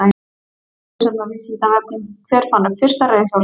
Frekara lesefni á Vísindavefnum: Hver fann upp fyrsta reiðhjólið?